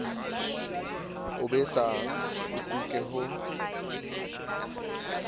o besang o tuke ho